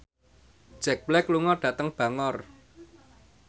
Jack Black lunga dhateng Bangor